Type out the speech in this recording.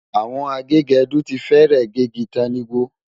Àwọn agégẹdú ti fẹ́rẹ̀ gé igi tán ní gbó.